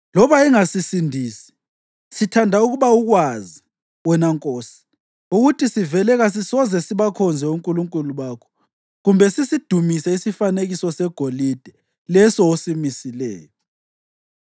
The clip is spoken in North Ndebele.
Loba engasisindisi, sithanda ukuba ukwazi, wena nkosi, ukuthi sivele kasisoze sibakhonze onkulunkulu bakho kumbe sisidumise isifanekiso segolide leso osimisileyo.”